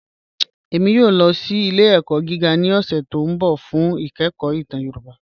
Ẹ̀mí yòò lọ sí ilẹ̀-ẹ̀kọ̀ gígà ní ọ̀ṣẹ̀ tí n bọ̀ fún ìkẹ̀kọ̀ ìtàn Yorùbá.